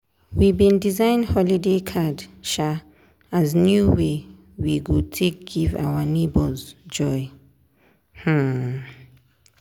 we bin design holiday card um as new way we go take give our neighbours joy. um